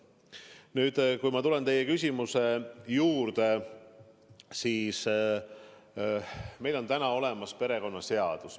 Nüüd, kui ma tulen teie küsimuse juurde, siis meil on täna olemas perekonnaseadus.